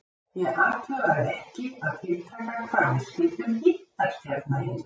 Ég athugaði ekki að tiltaka hvar við skyldum hittast hérna inni.